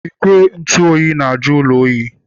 Igwe ntụ oyi na-ajụ ụlọ oyi.